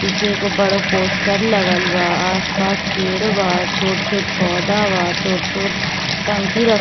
पीछे एगो बड़ो पोस्टर लगल बा आस-पास पेड़ बा छोटे-छोटे पोधा बा छोट-छोट टंकी रख --